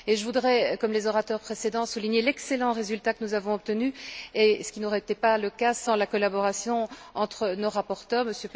Je voudrais, comme les orateurs précédents, souligner l'excellent résultat que nous avons obtenu, ce qui n'aurait pas été le cas sans la collaboration entre nos rapporteurs, M.